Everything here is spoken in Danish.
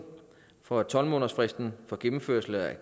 fra tolv månedersfristen for gennemførelse af